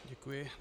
Děkuji.